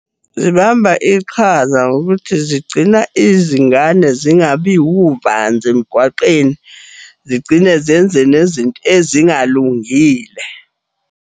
Zibamba iqhaza ngokuthi zigcina izingane zingabi uvanzi emgwaqeni, zigcine zenze nezinto ezingalungile.